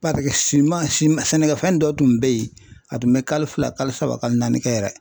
siman siman sɛnɛkɛfɛn dɔ tun bɛ ye a tun bɛ kalo fila kalo saba kalo naani kɛ yɛrɛ.